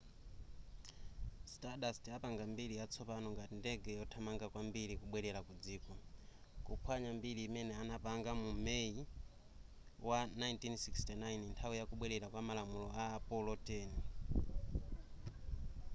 stardust apanga mbiri yatsopano ngati ndege yothamanga kwambiri kubwerera ku dziko kuphwanya mbiri imene anapanga mu may wa 1969 nthawi ya kubwera kwa malamulo a apollo x